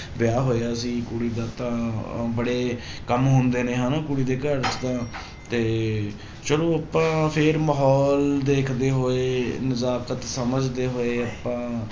ਵਿਆਹ ਹੋਇਆ ਸੀ ਕੁੜੀ ਦਾ ਤਾਂ ਅਹ ਬੜੇ ਕੰਮ ਹੁੰਦੇ ਨੇ ਹਨਾ ਕੁੜੀ ਦੇ ਘਰ ਤਾਂ ਤੇ ਚਲੋ ਆਪਾਂ ਫਿਰ ਮਾਹੌਲ ਦੇਖਦੇ ਹੋਏ ਨਜ਼ਾਕਤ ਸਮਝਦੇ ਹੋਏ ਆਪਾਂ